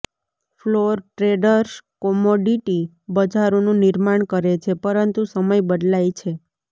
floor traders commodity બજારોનું નિર્માણ કરે છે પરંતુ સમય બદલાય છે